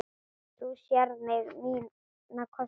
Þú sérð mína kosti.